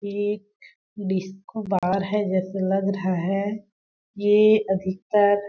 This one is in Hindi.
एक डिस्को बार है जैसे लग रहा है ये अधिकतर --